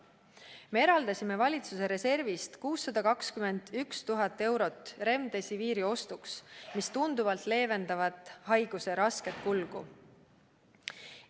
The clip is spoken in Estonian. Me eraldasime valitsuse reservist 621 000 eurot Remdesiviri ostuks, mis tunduvalt leevendavat haiguse rasket kulgu.